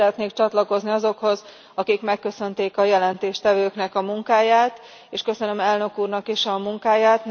Én is szeretnék csatlakozni azokhoz, akik megköszönték a jelentéstevőknek a munkáját, és köszönöm Elnök Úrnak is a munkáját!